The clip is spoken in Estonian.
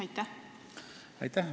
Aitäh!